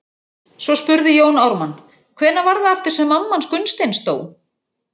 Svo spurði Jón Ármann:- Hvenær var það aftur sem mamma hans Gunnsteins dó?